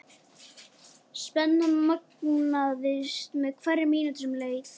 Spennan magnaðist með hverri mínútu sem leið.